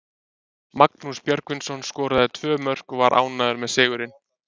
Magnús Björgvinsson skoraði tvö mörk og var ánægður með sigurinn.